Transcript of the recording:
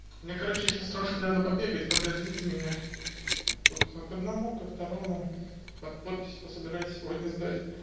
мне короче сейчас немного надо побегать подождите меня тут к одному ко второму под подписи пособирать сегодня сдать